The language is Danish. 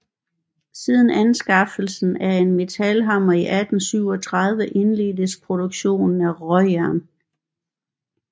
Siden anskaffelsen af en metalhammer i 1837 indledtes produktionen af råjern